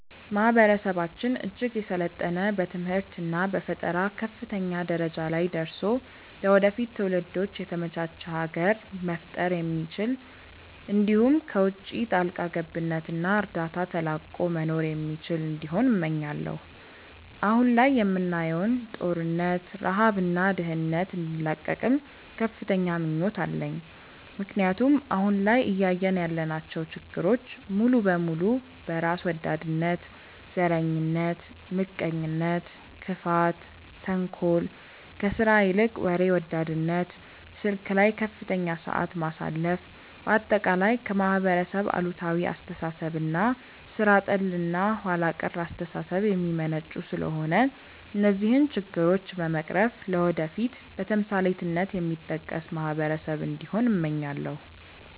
ማህበረሰባችን እጅግ የሰለጠነ በትምህርት እና በፈጠራ ከፍተኛ ደረጃ ላይ ደርሶ ለወደፊት ትውልዶች የተመቻች ሀገር መፍጠር የሚችል እንዲሁም ከውቺ ጣልቃ ገብነት እና እርዳታ ተላቆ መኖር የሚችል እንዲሆን እመኛለው። አሁን ላይ የምናየውን ጦርነት፣ ረሃብ እና ድህነት እንዲላቀቅም ከፍተኛ ምኞት አለኝ ምክንያቱም አሁን ላይ እያየን ያለናቸው ችግሮች ሙሉ በሙሉ በራስ ወዳድነት፣ ዘረኝነት፣ ምቀኝነት፣ ክፋት፣ ተንኮል፣ ከስራ ይልቅ ወሬ ወዳድነት፣ ስልክ ላይ ከፍተኛ ሰዓት ማሳለፍ፣ በአጠቃላይ ከማህበረሰብ አሉታዊ አስተሳሰብ እና ሥራ ጠል እና ኋላ ቀር አስተሳሰብ የሚመነጩ ስለሆነ እነዚህን ችግሮች በመቅረፍ ለወደፊት በተምሳሌትነት የሚጠቀስ ማህበረሰብ እንዲሆን እመኛለው።